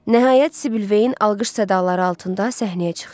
Nəhayət Sibil Veyin alqış sədaları altında səhnəyə çıxdı.